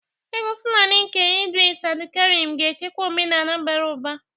Egwu Fulani nke Idris Abdulkarim ga-echekwa omenala bara ụba.